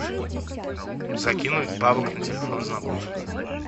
закинуть бабок на телефон знакомому